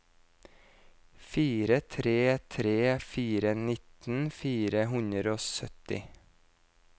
fire tre tre fire nitten fire hundre og sytti